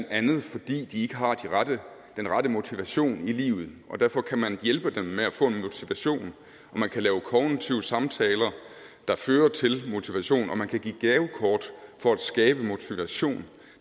andet fordi de ikke har den rette motivation i livet derfor kan man hjælpe dem med at få en motivation og man kan lave kognitive samtaler der fører til motivation og man kan give gavekort for at skabe motivation